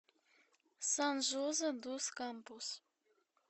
сан жозе дус кампус